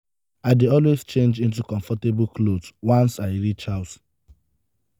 i dey always change into comfortable clothes wans i reach house.